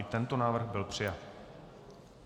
I tento návrh byl přijat.